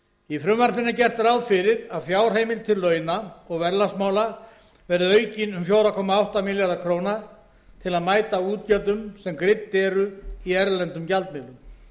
í frumvarpinu er gert ráð fyrir að fjárheimild til launa og verðlagsmála verði aukin um fjóra komma átta milljarða króna til að mæta útgjöldum sem greidd eru í erlendum gjaldmiðlum